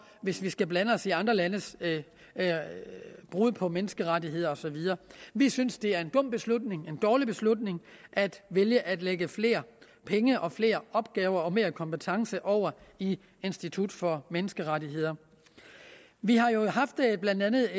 hvis vi skal blande os i andre landes brud på menneskerettigheder og så videre vi synes at det er en dum beslutning en dårlig beslutning at vælge at lægge flere penge og flere opgaver og mere kompetence over i institut for menneskerettigheder vi har jo blandt andet